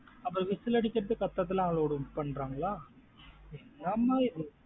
ஆப்ப whistle அடிச்சுட்டு, கத்துறது லாம். Allowed பண்றாங்கள. என்ன மா இது?